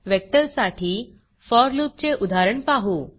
vector साठी for loop for loop चे उदाहरण पाहू